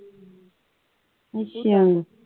ਅੱਛਾ